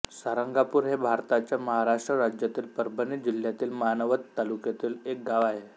सारंगापूर हे भारताच्या महाराष्ट्र राज्यातील परभणी जिल्ह्यातील मानवत तालुक्यातील एक गाव आहे